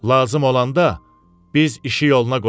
Lazım olanda biz işi yoluna qoyarıq.